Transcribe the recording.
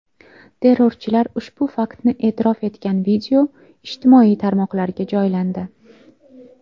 Terrorchilar ushbu faktni e’tirof etgan video ijtimoiy tarmoqlarga joylandi.